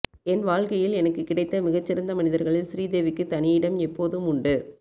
என் வாழ்க்கையில் எனக்குக் கிடைத்த மிகச்சிறந்த மனிதர்களில் ஸ்ரீதேவிக்கு தனி இடம் எப்போதும் உண்டு